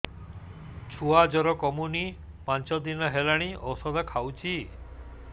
ଛୁଆ ଜର କମୁନି ପାଞ୍ଚ ଦିନ ହେଲାଣି ଔଷଧ ଖାଉଛି